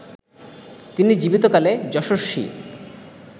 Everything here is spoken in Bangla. তিনি জীবিতকালে যশস্বী